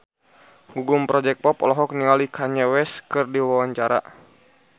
Gugum Project Pop olohok ningali Kanye West keur diwawancara